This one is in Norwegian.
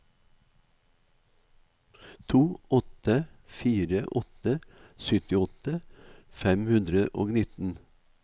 to åtte fire åtte syttiåtte fem hundre og nitten